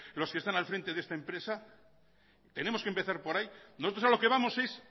los que están al frente de esta empresa tenemos que empezar por ahí nosotros a lo que vamos es